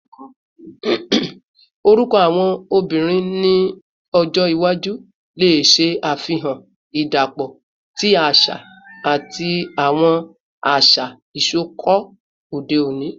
Orukọ awọn obinrin ni ọjọ iwaju le ṣe afihan idapọ ti aṣa ati awọn aṣa isọkọ ode oni